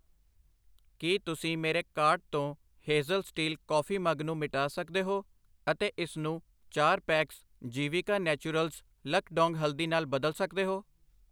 ਕੀ ਤੁਸੀਂ ਮੇਰੇ ਕਾਰਟ ਤੋਂ ਹੇਜ਼ਲ ਸਟੀਲ ਕਾਫੀ ਮੱਗ ਨੂੰ ਮਿਟਾ ਸਕਦੇ ਹੋ ਅਤੇ ਇਸਨੂੰ ਚਾਰ ਪੈਕਸ ਜੀਵਿਕਾ ਨੈਚੁਰਲਜ਼ ਲੱਕਡੋਂਗ ਹਲਦੀ ਨਾਲ ਬਦਲ ਸਕਦੇ ਹੋ